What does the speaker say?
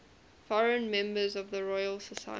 foreign members of the royal society